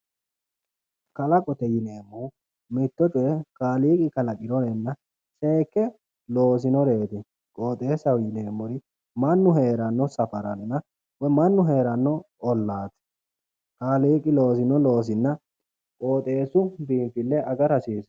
Kalaqote yineemmohu mitto coye kaaliiqi kalaqinorenna seekke loosinoreeti qooxeessaho yineemmori mannu heeranno safaranna woyi mannu heeranno ollaati kaaliiqi loosino loosinna qooxeessu biinfille agara hasiissanno